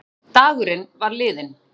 Dagurinn var liðinn.